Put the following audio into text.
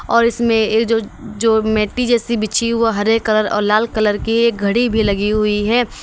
और इसमें ये जो जो मैटी जैसी बिछी हु वो हरे कलर और लाल कलर की एक घड़ी भी लगी हुई है।